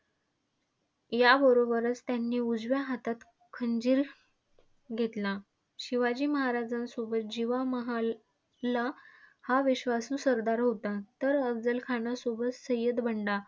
याबरोबरच त्यांनी उजव्या हातात खंजीर घेतला. शिवाजी महाराजांसोबत जीवा महाला हा विश्वासु सरदार होता. तर अफझल खानसोबत सय्यद बंडा.